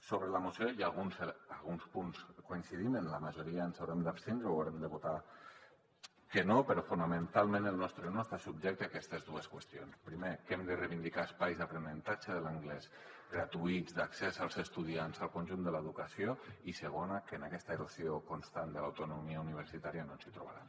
sobre la moció hi ha alguns punts on coincidim en la majoria ens haurem d’abstindre o haurem de votar que no però fonamentalment el nostre no està subjecte a aquestes dues qüestions primer que hem de reivindicar espais d’aprenentatge de l’anglès gratuïts d’accés als estudiants al conjunt de l’educació i segon que en aquesta erosió constant de l’autonomia universitària no ens hi trobaran